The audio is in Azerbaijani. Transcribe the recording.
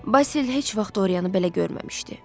Basil heç vaxt Dorianı belə görməmişdi.